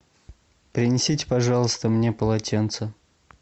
принесите пожалуйста мне полотенце